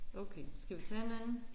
Okay skal vi tage en anden?